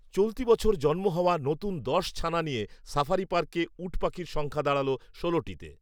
চলতি বছর জন্ম হওয়া নতুন দশ ছানা নিয়ে সাফারী পার্কে উটপাখির সংখ্যা দাঁড়ালো ষোলটিতে